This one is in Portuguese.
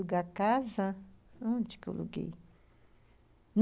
a casa) Onde que eu aluguei?